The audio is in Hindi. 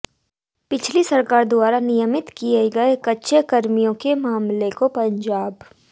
पिछली सरकार द्वारा नियमित किए गए कच्चे कर्मियों के मामले को पंजाब